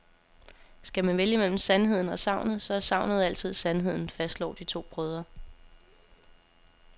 Skal man vælge mellem sandheden og sagnet, så er sagnet altid sandheden, fastslår de to brødre.